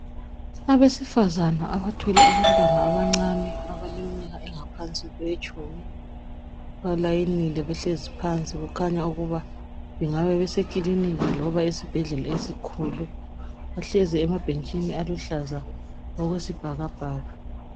Abesifazana abathwele abantwana abancane abaleminyaka engaphansi kwetshumi, balayinile behlezi phansi kukhanya ukuba bengabe besekiliniki loba esibhedlela esikhulu. Bahlezi emabhentshini aluhlaza okwesibhakabhaka